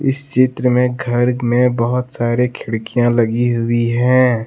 इस चित्र में घर में बहुत सारे खिड़कियां लगी हुई हैं।